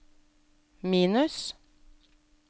minus